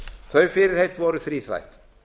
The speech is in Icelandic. þau fyrirheit voru þríþætt